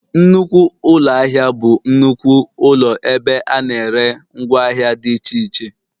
Nnukwu ụlọ ahịa bụ nnukwu ụlọ ebe a na-ere ngwa ahịa dị iche iche